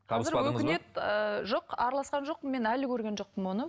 өкінеді ыыы жоқ араласқан жоқпын мен әлі көрген жоқпын оны